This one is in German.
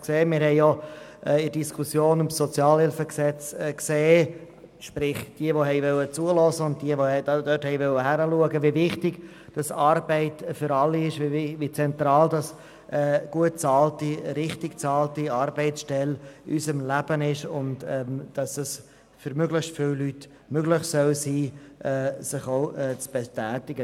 Wir haben in der Diskussion zum SHG gesehen – sprich: diejenigen, die zuhören und dort hinschauen wollten –, wie wichtig Arbeit für alle ist, wie zentral eine gut bezahlte, richtig bezahlte Arbeitsstelle in unserem Leben ist, und dass es für möglichst viele Leute möglich sein soll, sich auch zu betätigen.